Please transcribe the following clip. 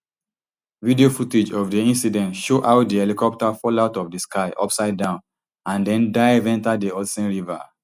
video footage of di incident show how di helicopter fall out of di sky upside down and den dive enta di hudson river